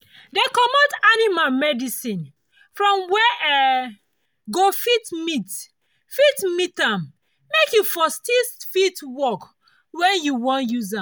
dey comot animal medicine from where[um]go fit meet fit meet am make e for still fit work when you wan use am